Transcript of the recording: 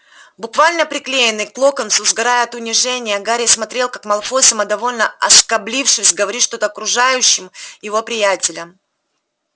буквально приклеенный к локонсу сгорая от унижения гарри смотрел как малфой самодовольно осклабившись говорит что-то окружающим его приятелям